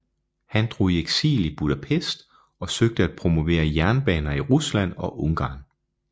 Han drog i eksil i Budapest og søgte at promovere jernbaner i Rusland og Ungarn